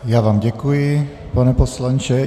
Já vám děkuji, pane poslanče.